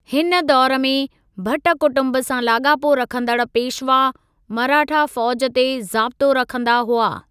हिन दौरु में, भट कुटुंबु सां लाॻापो रखंदड़ पेशवा, मराठा फ़ौज ते ज़ाबितो रखंदा हुआ।